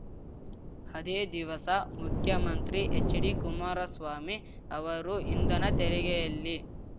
ಅದೇ ದಿವಸ ಮುಖ್ಯಮಂತ್ರಿ ಹೆಚ್‌ಡಿಕುಮಾರಸ್ವಾಮಿ ಅವರು ಇಂಧನ ತೆರಿಗೆಯಲ್ಲಿ